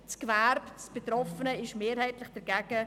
Damit ist das betroffene Gewerbe mehrheitlich dagegen.